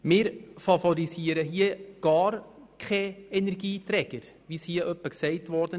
Wir favorisieren gar keinen Energieträger, so wie das hier bisweilen gesagt wurde.